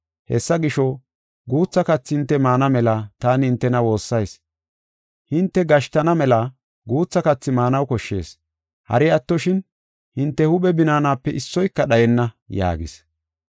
Hessa gisho, guutha kathi hinte maana mela taani hintena woossayis. Hinte gashtisana mela guutha kathi maanaw koshshees; hari attoshin hinte huuphe binaanape issoyka dhayenna” yaagis.